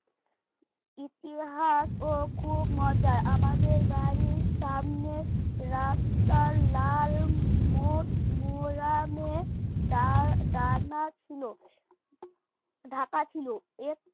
ইতিহাস ও খুব মজার আমাদের বাড়ির সামনে রাস্তার লাল মোর মোরামে দান দানা ছিল ঢাকা ছিল